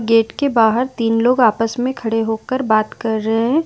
Gate के बाहर तीन लोग आपस में खड़े होकर बात कर रहे हैं।